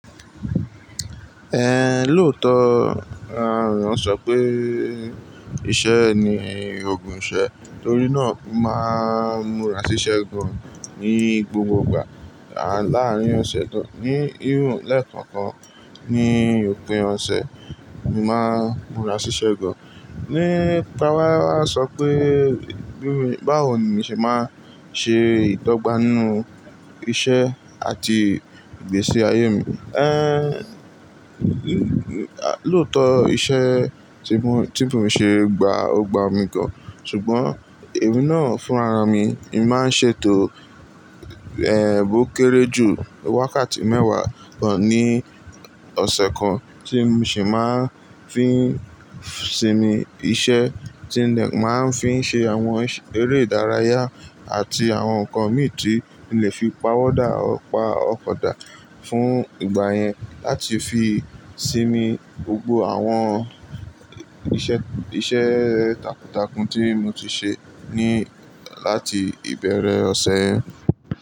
Ehn, lóòótọ́, a, wọn sọ pé iṣẹ́ ni ògùn ìṣẹ́, torí náà máa ń múra síṣẹ́ gan ní gbogbo ìgbà. Àn, láàárín ọ̀sẹ̀ kan, ní hín lẹ́ẹ̀kan kan ní òpin ọ̀sẹ̀, mo máa ń múra síṣẹ́ gan. Ni, táwà sọ pé bí i báwo ni mi ṣe máa ń ṣe ìdọ́gba ninú iṣẹ́ àti ìgbésí ayé mi. Ehn, lóòótọ́ iṣẹ́ tí mo, tí mo n ṣe gba, ó gba mi gan, ṣùgbọ́n èmi náà fún ara mi, èmi máa ń ṣètò, ehn, bó kéré jù wákàtí mẹ́wàá gan ní ọ̀sẹ̀ kan tí mo sì máa ń fi ń sinmi iṣẹ́ tí lè máa ń fi ń ṣe àwọn eré ìdárayá àti àwọn nǹkan mi tí mo lè fi pàwọ́ dá ọ pa ọkọ̀ dá fún ìgbà yẹn láti fi sinmi gbogbo àwọn iṣẹ́, iṣẹ́ takuntakun tí mo ti ṣe ní láti ìbẹ̀rẹ̀ ọ̀sẹ̀ yẹn.